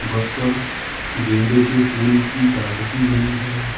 बस पर गेंदे के फूल की कलाकृति बनी है।